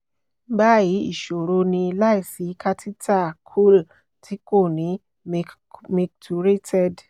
bayi iṣoro ni- laisi catheter coul ti ko ni micturated